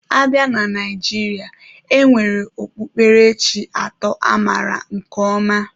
A bịa na Naijiria, e nwere okpukperechi atọ amaara nke ọma.